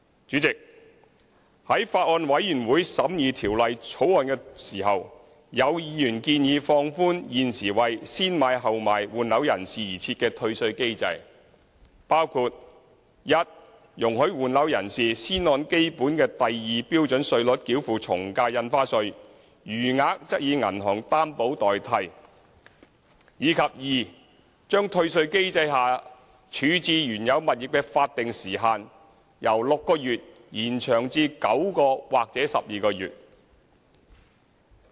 主席，在法案委員會審議《條例草案》時，有委員建議放寬現時為"先買後賣"換樓人士而設的退稅機制，包括一容許換樓人士先按基本的第2標準稅率繳付從價印花稅，餘額則以銀行擔保代替；以及二將退稅機制下處置原有物業的法定時限由6個月延長至9個月或12個月。